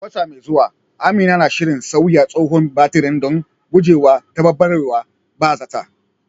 A wata mai zuwa, Amina na shirin sauya tsohon batirin don gujewa taɓarɓarewar ba zata